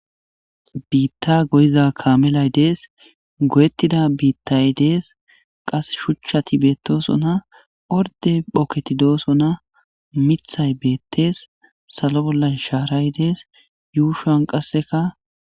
Biita goyiza kaamelay dees. Goyetida biitay dees. Qasse shuchchati beetosona. Ordde ogeti doosona. Miththay beetees. Salo bolla shaaray dees. Yuushan qaseka..